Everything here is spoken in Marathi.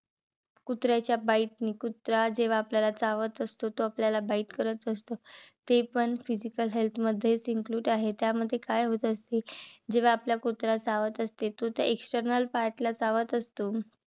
कुत्राच्या bite नी कुत्रा जेव्हा आपल्याला चावत असतो. तो आपल्याला bite करत असतो. ते पण physical health मध्येचं include आहे. त्यामध्ये काय होत असते. जेव्हा आपल्याला कुत्रा चावत असते. तो त्या external part ला चावत असतो.